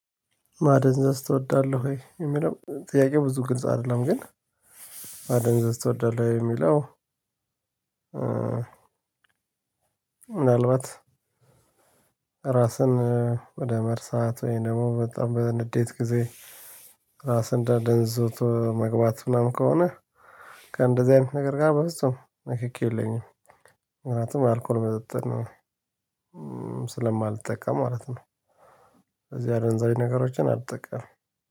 ማደንዘዝ ትወዳለህ ወይ የሚለው ጥያቄ ብዙ ግልጽ አይደለም ግን ማደንዘዝ ትወዳለህ የሚለው? ምናልባት ራስን ወደ መርሳት ወይንም በጣም በንዴት ጊዜ ራስን አደንዝዞ መግባት ምናምን ከሆነ ከእንደዚህ አይነት ነገር ጋር በፍጹም ንክኪ የለኝም። ምክንያቱም አልኮል መጠጥን ስለማልጠቀም ማለት ነው። ስዚህ አደንዛዥ ነገሮችን አልጠቀምም።